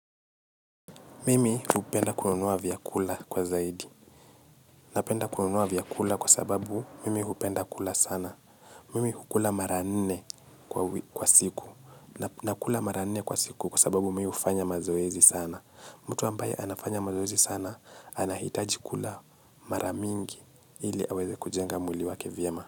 Mimi hupenda kununua vyakula kwa zaidi. Napenda kununua vyakula kwa sababu mimi hupenda kula sana. Mimi hukula mara nne kwa siku. Nakula mara nne kwa siku kwa sababu mimi hufanya mazoezi sana. Mtu ambaye anafanya mazoezi sana anahitaji kula maramingi ili aweze kujenga mwili wake vyema.